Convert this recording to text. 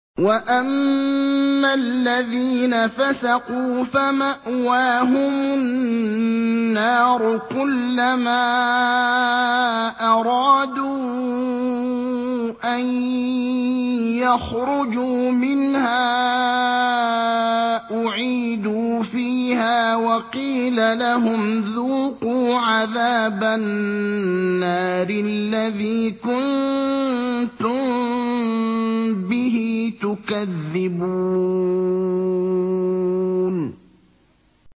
وَأَمَّا الَّذِينَ فَسَقُوا فَمَأْوَاهُمُ النَّارُ ۖ كُلَّمَا أَرَادُوا أَن يَخْرُجُوا مِنْهَا أُعِيدُوا فِيهَا وَقِيلَ لَهُمْ ذُوقُوا عَذَابَ النَّارِ الَّذِي كُنتُم بِهِ تُكَذِّبُونَ